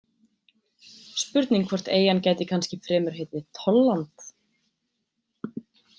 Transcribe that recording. Spurning hvort eyjan gæti kannski fremur heitið Tollland.